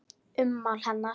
Ummál hennar